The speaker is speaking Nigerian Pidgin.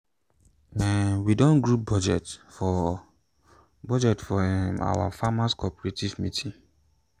um we do group budget for budget for um our farmers cooperative meeting.